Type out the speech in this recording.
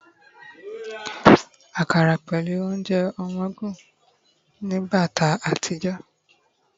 akara pẹlu ounjẹ ọmọ ogun nibate àtijó